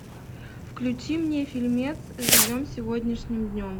включи мне фильмец живем сегодняшним днем